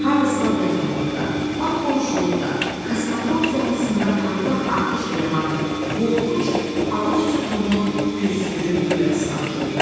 Hardasa lap yaxınlıqda, lap qonşuluqda, kosmodrom zonasında parlaq atəşlə yanan qorxunc alov sütunu püskürüb göyə sancıldı.